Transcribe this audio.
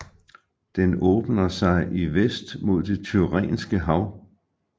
Den åbner sig i vest mod Det Tyrrhenske Hav